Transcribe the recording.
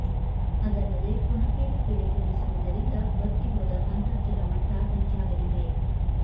ಅದಲ್ಲದೇ ಕುಣಕೇರಿ ಕೆರೆ ತುಂಬಿಸುವುದರಿಂದ ಬತ್ತಿ ಹೋದ ಅಂತರ್ಜಲ ಮಟ್ಟ ಹೆಚ್ಚಾಗಲಿದೆ